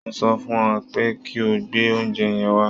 Mo sọ fún ẹ pé kí o gbé oúnjẹ yẹn wá